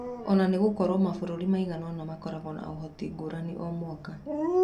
Ona-ngĩkorwo mabũrũri maigana-ona makoragwo na ũhoti ngũrani o mwaka.